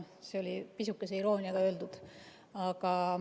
See oli pisukese irooniaga öeldud.